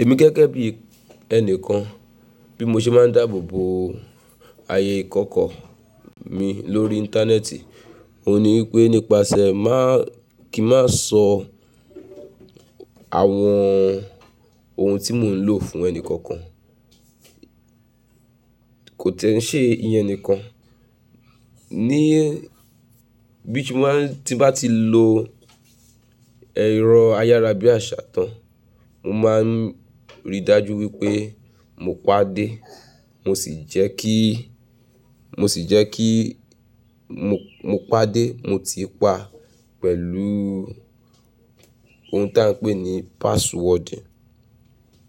Èmi gege3 bí ẹni kan, bí mo ṣe máa ń dáàbò bo ààyè ìkọọ̀kọọ mi lórí íńtánẹ́ẹ̀tì, òun ní wípé nípasẹ̀ máà kí má sọ àwọn ohun tí mò ń lò fún ẹni kankan. Kò tẹ́ ń ṣe ìyẹn ẹni kan. Ní bí mo máa ń tí bá ti lò ẹ̀rọ ayárabíàṣá tán, mo máa ń rí i dájú wípé mo pàdé, mo sì jẹ́ kí, mo sì jẹ́ kí mo, mo pàdé, mo ti i pa pẹ̀lú ohun tí à ń pè ní password.